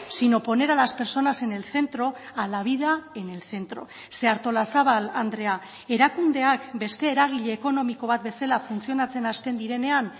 sino poner a las personas en el centro a la vida en el centro ze artolazabal andrea erakundeak beste eragile ekonomiko bat bezala funtzionatzen hasten direnean